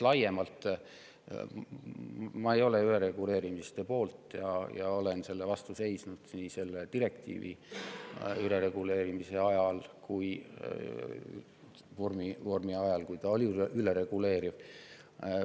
Ma ei ole ülereguleerimise poolt, olen selle vastu seisnud ka selle direktiivi puhul ajal, kui selle vorm oli ülereguleeriv.